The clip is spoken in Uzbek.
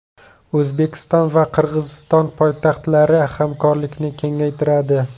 O‘zbekiston va Qirg‘iziston poytaxtlari hamkorlikni kengaytiradi.